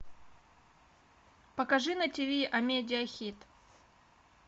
покажи на тиви амедиа хит